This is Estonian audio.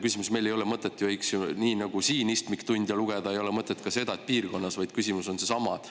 Nii nagu siin pole mõtet istmiktunde lugeda, ei ole mõtet seda teha ka piirkonnas, küsimus on seesama.